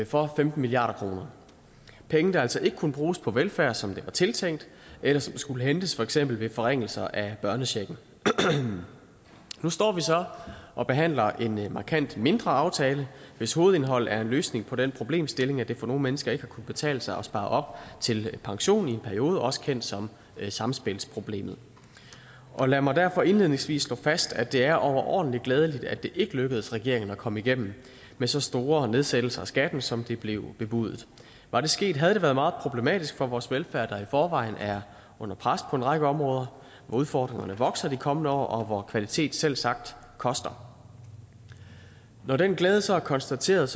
for femten milliard kroner penge der altså ikke kunne bruges på velfærd som det var tiltænkt eller som skulle hentes for eksempel ved forringelser af børnechecken nu står vi så og behandler en markant mindre aftale hvis hovedindhold er en løsning på den problemstilling at det for nogle mennesker ikke har kunnet betale sig at spare op til pension i en periode også kendt som samspilsproblemet lad mig derfor indledningsvis slå fast at det er overordentlig glædeligt at det ikke lykkedes regeringen at komme igennem med så store nedsættelser af skatten som det blev bebudet var det sket havde det været meget problematisk for vores velfærd der i forvejen er under pres på en række områder hvor udfordringerne vokser de kommende år og hvor kvalitet selvsagt koster når den glæde så er konstateret